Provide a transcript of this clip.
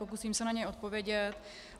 Pokusím se na ně odpovědět.